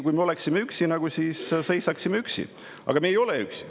Kui me oleksime üksi, siis me seisaksime üksi, aga me ei ole üksi.